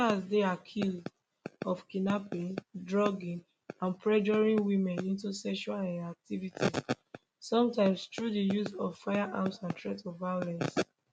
di star dey accused of kidnapping drugging and pressuring women into sexual um activities sometimes through di use of firearms and threats of violence